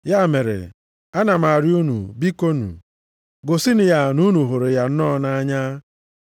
Ya mere ana m arịọ unu, bikonu, gosinụ ya na unu hụrụ ya nnọọ nʼanya.